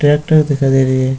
Tractor दिखाई दे रही है।